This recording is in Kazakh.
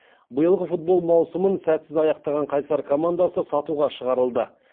биылғы футбол маусымын сәтсіз аяқтаған қайсар командасы сатуға шығарылды